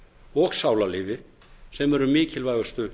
og sálarlífi sem eru mikilvægustu